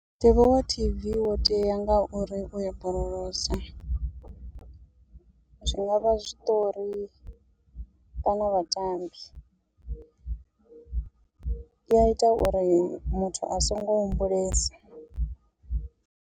Mutevhe wa tv wo tea nga uri uya borolosa, zwi ngavha zwiṱori kana vhatambi, u i a ita uri muthu a songo humbulesa.